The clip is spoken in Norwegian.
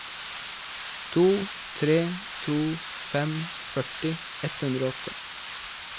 to tre to fem førti ett hundre og åtte